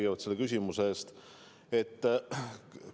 Aitäh selle küsimuse eest!